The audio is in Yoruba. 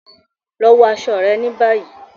Lọ wọ aṣọ rẹ ní bayi!